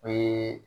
O ye